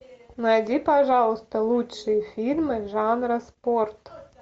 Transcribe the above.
найди пожалуйста лучшие фильмы жанра спорт